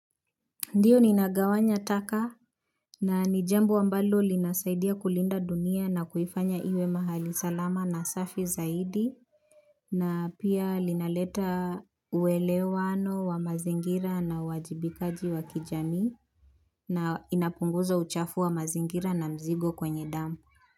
Ndiyo ninagawanya taka na ni jambo ambalo linasaidia kulinda dunia na kuifanya iwe mahali salama na safi zaidi na pia linaleta uwelewano wa mazingira na uwajibikaji wa kijamii na inapunguza uchafu wa mazingira na mzigo kwenye damu.